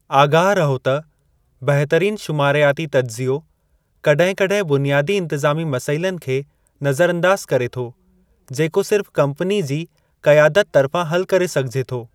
आगाह रहो त बहितरीनु शुमारियाती तज्ज़ियो कॾहिं कॾहिं बुनियादी इन्तिज़ामी मसइलनि खे नज़र अंदाज़ु करे थो जेको सिर्फ़ कम्पनी जी क़यादत तर्फ़ां हलु करे सघिजे थो।